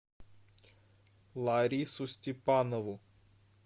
ларису степанову